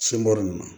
Sin bɔ nin na